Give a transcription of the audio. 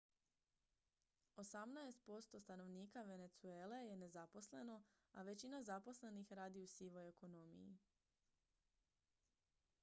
osamnaest posto stanovnika venezuele je nezaposleno a većina zaposlenih radi u sivoj ekonomiji